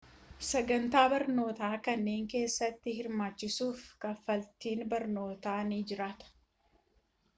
sagantaa barnootaa kanneen keessatti hirmaachuuf kafaltiin barnootaa ni jiraata